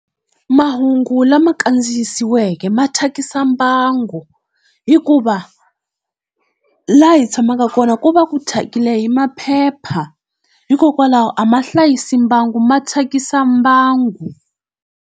Mahungu lama kandziyisiweke ma thyakisa mbango, hikuva laha hi tshamaka kona ku va ku thyakile hi maphepha hikokwalaho a ma hlayisi mbango ma thyakisa mbango.